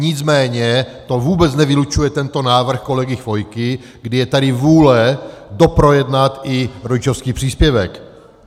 Nicméně to vůbec nevylučuje tento návrh kolegy Chvojky, kdy je tady vůle doprojednat i rodičovský příspěvek.